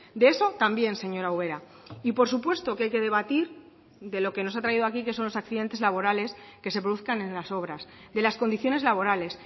de eso también señora ubera y por supuesto que hay que debatir de lo que nos ha traído aquí que son los accidentes laborales que se produzcan en las obras de las condiciones laborales